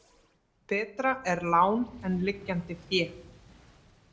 Betra er lán en liggjandi fé.